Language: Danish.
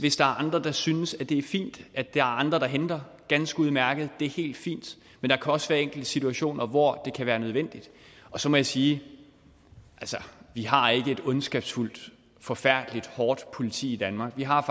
hvis der er andre der synes det er fint at det er andre der henter dem er ganske udmærket det er helt fint men der kan også være enkelte situationer hvor det kan være nødvendigt så må jeg sige vi har ikke et ondskabsfuldt og forfærdeligt politi i danmark vi har